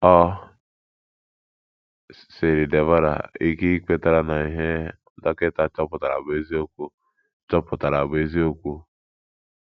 O siiri Deborah ike ikweta na ihe dọkịta chọpụtara bụ eziokwu chọpụtara bụ eziokwu.